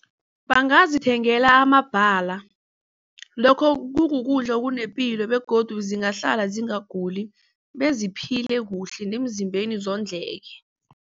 Bangazithengela amabhala lokho kukudla okunepilo begodu zingahlala ziguli beziphile kuhle nemzimbeni zondleke.